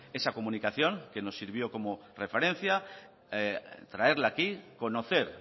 esa comunicación que nos sirvió como referencia traerla aquí conocer